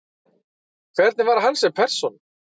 Hvernig var hann sem persóna?